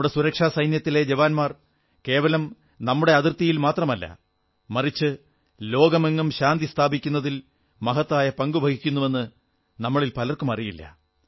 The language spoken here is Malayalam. നമ്മുടെ സുരക്ഷാസേനകളിലെ ജവാന്മാർ കേവലം നമ്മുടെ അതിർത്തിയിൽ മാത്രമല്ല മറിച്ച് വിശ്വമെങ്ങും ശാന്തി സ്ഥാപിക്കുന്നതിൽ മഹത്തായ പങ്കു വഹിക്കുന്നുവെന്ന് നമ്മളിൽ പലർക്കും അറിയില്ല